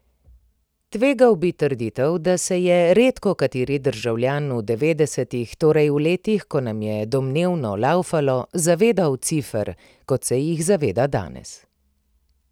Tvegal bi trditev, da se je redko kateri državljan v devetdesetih, torej v letih, ko nam je domnevno laufalo, zavedal cifer, kot se jih zaveda danes.